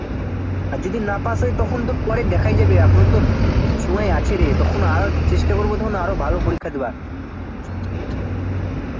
আর যদি না pass হয় তখন তো পরে দেখাই যাবে এখনো তো সময় আছে রে তখন চেষ্টা করবো আরো ভালো পরোক্ষ দেওয়ার